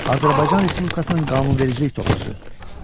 Azərbaycan Respublikasının qanunvericilik toplusu.